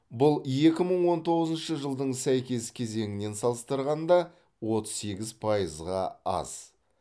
бұл екі мың он тоғызыншы жылдың сәйкес кезеңінен салыстырғанда отыз сегіз пайызға аз